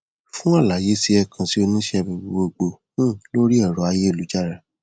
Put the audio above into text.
fún àlàyé sí ẹ kàn sí oníṣẹ abẹ gbogboogbò um lórí ẹrọ ayélujára